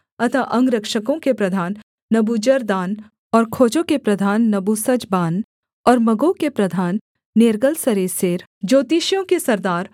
अतः अंगरक्षकों के प्रधान नबूजरदान और खोजों के प्रधान नबूसजबान और मगों के प्रधान नेर्गलसरेसेर ज्योतिषियों के सरदार